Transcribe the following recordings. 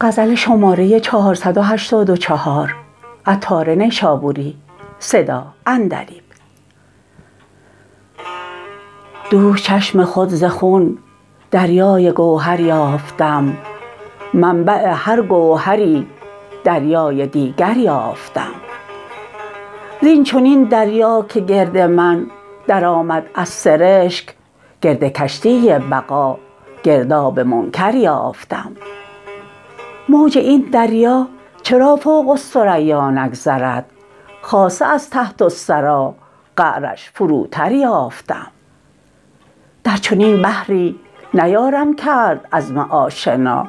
دوش چشم خود ز خون دریای گوهر یافتم منبع هر گوهری دریای دیگر یافتم زین چنین دریا که گرد من درآمد از سرشک گرد کشتی بقا گرداب منکر یافتم موج این دریا چرا فوق الثریا نگذرد خاصه از تحت الثری قعرش فروتر یافتم در چنین بحری نیارم کرد عزم آشنا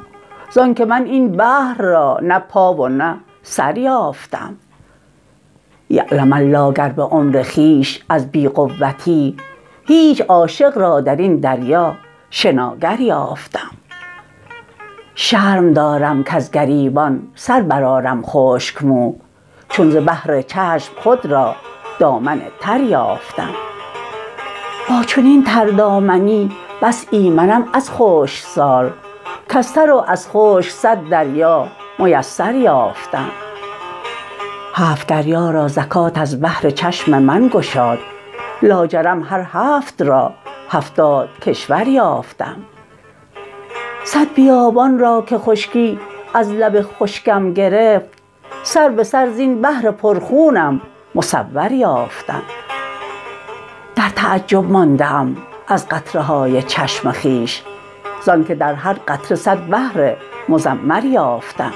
زانکه من این بحر را نه پا و نه سر یافتم یعلم الله گر به عمر خویش از بی قوتی هیچ عاشق را درین دریا شناگر یافتم شرم دارم کز گریبان سر برآرم خشک مو چون ز بحر چشم خود را دامن تر یافتم با چنین تردامنی بس ایمنم از خشک سال کز تر و از خشک صد دریا میسر یافتم هفت دریا را زکوة از بحر چشم من گشاد لاجرم هر هفت را هفتاد کشور یافتم صد بیابان را که خشکی از لب خشکم گرفت سر به سر زین بحر پر خونم مصور یافتم در تعجب مانده ام از قطره های چشم خویش زانکه در هر قطره صد بحر مضمر یافتم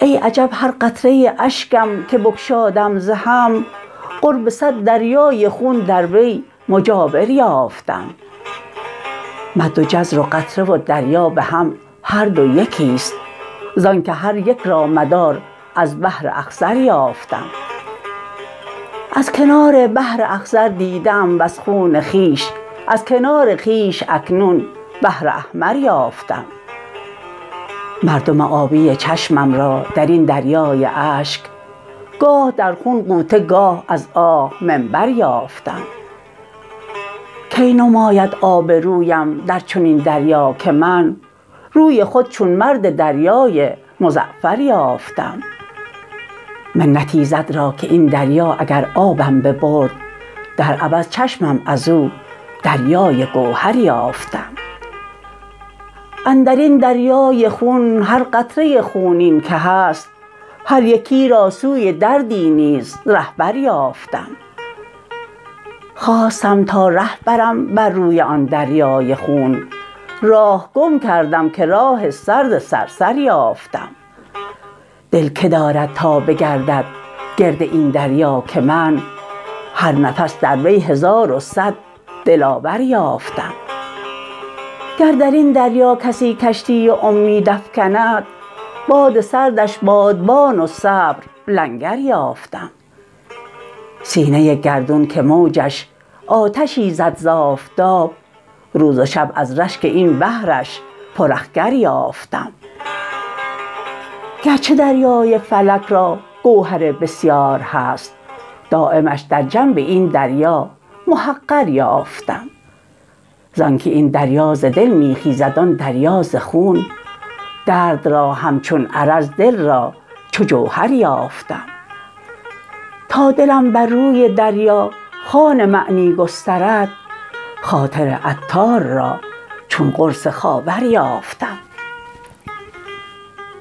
ای عجب هر قطره اشکم که بگشادم ز هم قرب صد دریای خون در وی مجاور یافتم مد و جزر و قطره و دریا به هم هر دو یکی ست زانکه هر یک را مدار از بحر اخضر یافتم از کنار بحر اخضر دیده ام وز خون خویش از کنار خویش اکنون بحر احمر یافتم مردم آبی چشمم را درین دریای اشک گاه در خون غوطه گاه از آه منبر یافتم کی نماید آب رویم در چنین دریا که من روی خود چون مرد دریای مزعفر یافتم منت ایزد را که این دریا اگر آبم ببرد در عوض چشمم ازو دریای گوهر یافتم اندرین دریای خون هر قطره خونین که هست هر یکی را سوی دردی نیز رهبر یافتم خواستم تا ره برم بر روی آن دریای خون راه گم کردم که راه سرد صر صر یافتم دل که دارد تا بگردد گرد این دریا که من هر نفس در وی هزار و صد دلاور یافتم گر درین دریا کسی کشتی امید افکند باد سردش بادبان و صبر لنگر یافتم سینه گردون که موجش آتشی زد زآفتاب روز و شب از رشک این بحرش پر اخگر یافتم گرچه دریای فلک را گوهر بسیار هست دایمش در جنب این دریا محقر یافتم زانکه این دریا ز دل می خیزد آن دریا ز خون درد را همچون عرض دل را چو جوهر یافتم تا دلم بر روی دریا خون معنی گسترد خاطر عطار را چون قرص خاور یافتم